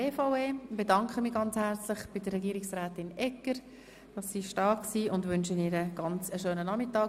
Ich bedanke mich ganz herzlich bei der Regierungsrätin Barbara Egger und wünsche ihr einen schönen Nachmittag.